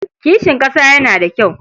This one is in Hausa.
Kishin ƙasa yana da kyau.